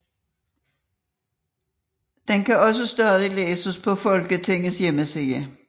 Den kan også stadig læses på Folketingets hjemmeside